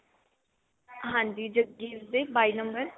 ਹਾਂਜੀ ਜੱਗੀ ਦੇ ਬਾਈ number